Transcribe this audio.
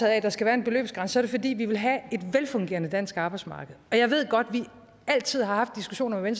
af at der skal være en beløbsgrænse er det fordi vi vil have et velfungerende dansk arbejdsmarked jeg ved godt at vi altid har haft diskussionen med